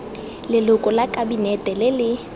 leloko la kabinete le le